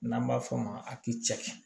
N'an b'a f'o ma